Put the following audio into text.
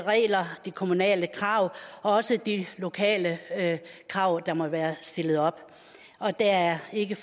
regler de kommunale krav og også de lokale krav der måtte være stillet op det er ikke